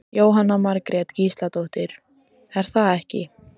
Jóhanna Margrét Gísladóttir: Er það ekki?